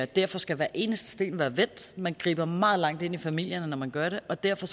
derfor skal hver eneste sten være vendt man griber meget langt ind i familierne når man gør det og derfor